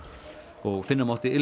og finna mátti ilminn